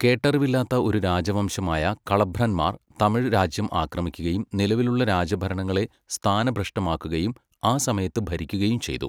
കേട്ടറിവില്ലാത്ത ഒരു രാജവംശമായ കളഭ്രന്മാർ തമിഴ് രാജ്യം ആക്രമിക്കുകയും നിലവിലുള്ള രാജഭരണങ്ങളെ സ്ഥാനഭ്രഷ്ടമാക്കുകയും ആ സമയത്ത് ഭരിക്കുകയും ചെയ്തു.